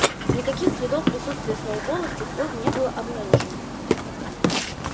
никаких следов присутствия сноуболла с тех пор не было обнаружено